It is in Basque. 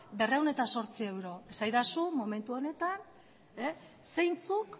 berrehun eta zortzi euro esadazu momentu honetan zeintzuk